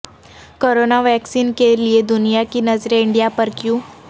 corona vaccine کے لیے دنیا کی نظریں انڈیا پر کیوں